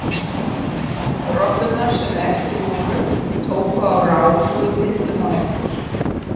Rollurnar sem eftir voru tóku á rás og við fylgdum á eftir.